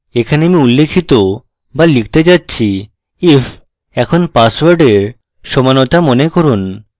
এখানে আমি উল্লিখিত বা লিখতে যাচ্ছি if এখন পাসওয়ার্ডের সমানতা মনে করুন